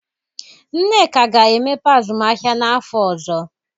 Nneka ga-emepe azụmahịa n'afọ ọzọ.